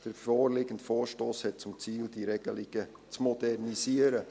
Der vorliegende Vorstoss hat zum Ziel, diese Regelungen zu modernisieren.